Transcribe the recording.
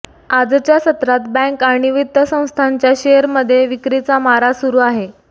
आजच्या सत्रात बँक आणि वित्त संस्थांच्या शेअरमध्ये विक्रीचा मारा सुरु आहे